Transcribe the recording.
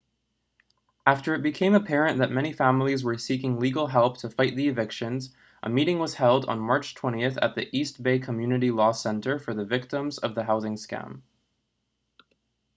after it became apparent that many families were seeking legal help to fight the evictions a meeting was held on march 20 at the east bay community law center for the victims of the housing scam